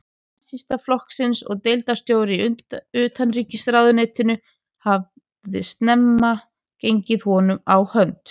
Nasistaflokksins og deildarstjóri í utanríkisráðuneytinu, hafði snemma gengið honum á hönd.